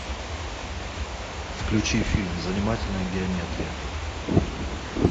включи фильм занимательная геометрия